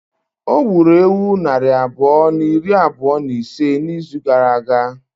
O gburu ewu nari abụọ na iri abụọ na ise n'izu gara aga?